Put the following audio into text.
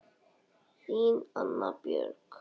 Þín Anna Björg.